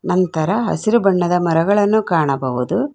ನಂತರ ಹಸಿರು ಬಣ್ಣದ ಮರಗಳನ್ನು ಕಾಣಬಹುದು.